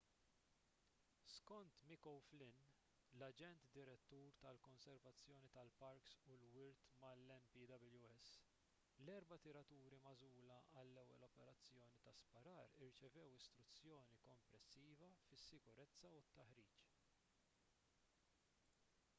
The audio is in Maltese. skont mick o'flynn l-aġent direttur tal-konservazzjoni tal-parks u l-wirt mal-npws l-erba' tiraturi magħżula għall-ewwel operazzjoni ta' sparar irċevew istruzzjoni komprensiva fis-sikurezza u t-taħriġ